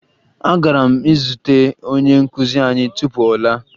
Agara m izute onye nkụzi anyị tupu ọ laa